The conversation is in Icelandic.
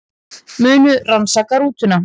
Munu rannsaka rútuna